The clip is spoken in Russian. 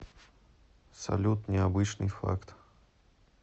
салют необычный факт